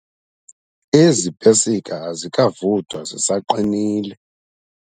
Ezi pesika azikavuthwa zisaqinile.